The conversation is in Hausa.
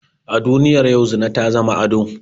A duniyar yau zina ta zama ado